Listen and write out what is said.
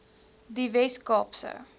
die wes kaapse